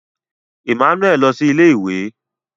Emmanuel Lọ si ilé-ìwé